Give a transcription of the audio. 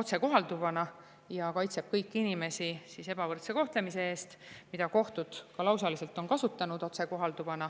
otsekohalduvana ja kaitseb kõiki inimesi ebavõrdse kohtlemise eest, ja kohtud on ka lausaliselt kasutanud seda otsekohalduvana.